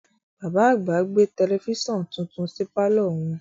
Bàbá àgbà gbé tẹlẹfísàn titun sí pàlọ́ wọn